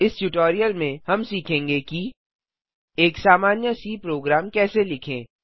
इस ट्यूटोरियल में हम सीखेंगे कि एक सामान्य सी प्रोग्राम कैसे लिखें